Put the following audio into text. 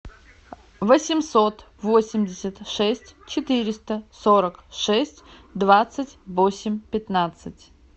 восемьсот восемьдесят шесть четыреста сорок шесть двадцать восемь пятнадцать